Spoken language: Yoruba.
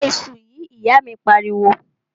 Bẹ iṣu yìí! ìyá míì pariwo.